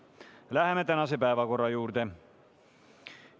Läheme tänase päevakorra juurde.